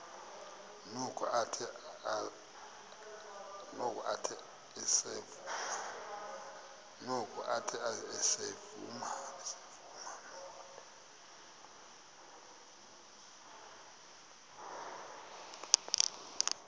noko athe ezivuma